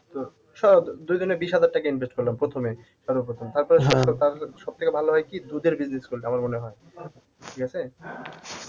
তোর দুজনে বিশ হাজার টাকা invest করলাম প্রথমে সর্ব প্রথম সব থেকে ভালো হয় কি দুধের business করলে আমার মনে হয় ঠিক আছে?